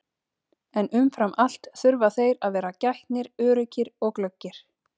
En umfram allt þurfa þeir að vera gætnir, öruggir og glöggir.